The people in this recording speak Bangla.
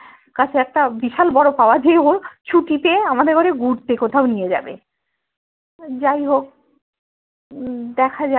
কাছে একটা বিশাল বরো পাওয়া যে ও ছুটিতে আমাদের এবারে ঘুরতে কোথাও নিয়ে যাবে যাইহোক উম দেখা যাক